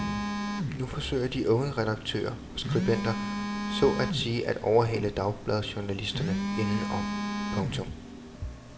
Nu forsøger de unge redaktører og skribenter så at sige at overhale dagbladsjournalisterne indenom. punktum